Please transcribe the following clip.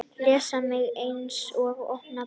Les mig eins og opna bók.